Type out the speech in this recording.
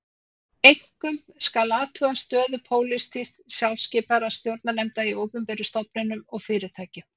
Einkum skal athuga stöðu pólitískt skipaðra stjórnarnefnda í opinberum stofnunum og fyrirtækjum.